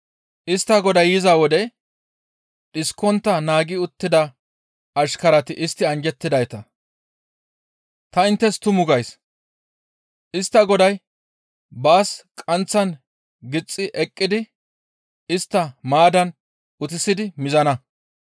Istta goday yiza wode dhiskontta naagi uttida ashkarati istti anjjettidayta; ta inttes tumu gays; istta goday baas qaanththan gixxi eqqidi istta maaddan utissidi mizana.